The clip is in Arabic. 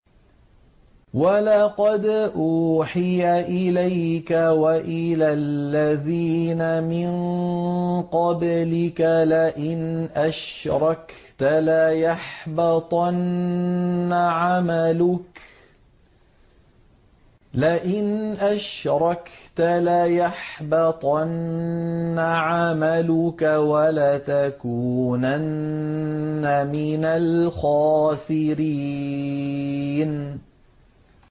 وَلَقَدْ أُوحِيَ إِلَيْكَ وَإِلَى الَّذِينَ مِن قَبْلِكَ لَئِنْ أَشْرَكْتَ لَيَحْبَطَنَّ عَمَلُكَ وَلَتَكُونَنَّ مِنَ الْخَاسِرِينَ